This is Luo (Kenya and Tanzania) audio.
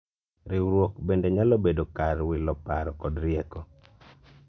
riwruok bende nyalo bedo kar wilo paro kod rieko